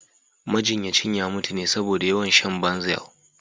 Majinyacin ya mutu ne saboda yawan shan Banzel.